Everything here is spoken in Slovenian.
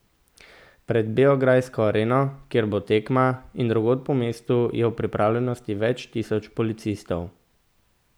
Pred beograjsko Areno, kjer bo tekma, in drugod po mestu je v pripravljenosti več tisoč policistov.